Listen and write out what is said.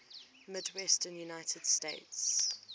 midwestern united states